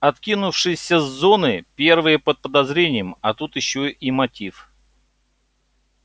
откинувшиеся с зоны первые под подозрением а тут ещё и мотив